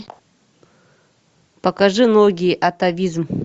покажи ноги атавизм